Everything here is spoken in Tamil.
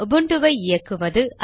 உபுன்டுவை இயக்குவது